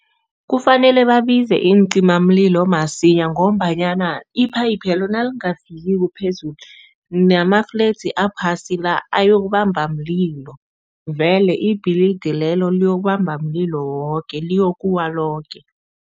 Kufanele babize iincimamlilo masinya ngombanyana iphayiphelo nalingafikiko phezulu, namafledzi aphasi la, ayokubamba mlilo vele ibhilidi lelo le liyokubamba mlilo woke, liyokuwa loke.